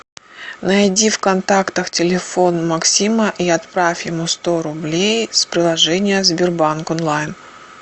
найди в контактах телефон максима и отправь ему сто рублей с приложения сбербанк онлайн